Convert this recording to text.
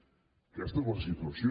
aquesta és la situació